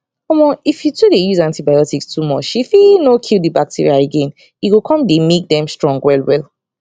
omo if you to dey use antibiotics too muche fit no kill the bacteria again e go come make them strong well well